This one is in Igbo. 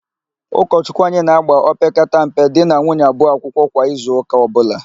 Ụkọchụkwụ anyị na-ágbà opekata mpe di na nwunye abụọ akwụkwọ kwa izuụka ọbụla.